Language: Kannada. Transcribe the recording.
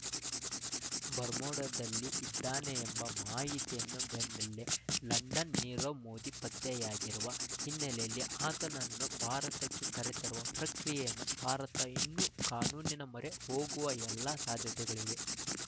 ಬರ್ಮೋಡಾದಲ್ಲಿ ಇದ್ದಾನೆ ಎಂಬ ಮಾಹಿತಿಯನ್ನು ಬೆನ್ನಲ್ಲೆ ಲಂಡನ್‌ ನೀರವ್ ಮೋದಿ ಪತ್ತೆಯಾಗಿರುವ ಹಿನ್ನೆಲೆಯಲ್ಲಿ ಆತನನ್ನು ಭಾರತಕ್ಕೆ ಕರೆತರುವ ಪ್ರಕ್ರಿಯೆಯನ್ನು ಭಾರತ ಇನ್ನು ಕಾನೂನಿನ ಮೊರೆ ಹೋಗುವ ಎಲ್ಲ ಸಾಧ್ಯತೆಗಳಿವೆ